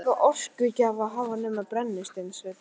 Þar er enga orkugjafa að hafa nema brennisteinsvetnið.